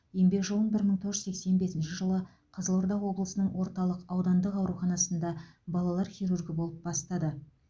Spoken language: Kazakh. еңбек жолын бір мың тоғыз жүз сексен бесінші жылы қызылорда облысының орталық аудандық ауруханасында балалар хирургі болып бастады